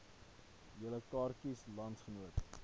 julle kaartjies landsgenote